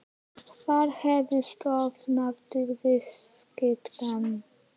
Hver hafi stofnað til viðskiptanna?